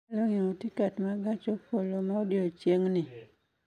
Inyalo ng'iewo tiket ma gach okoloma odiechieng'ni